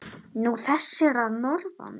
Nú, þessir að norðan.